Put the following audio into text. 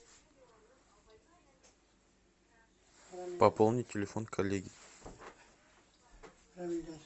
пополнить телефон коллеги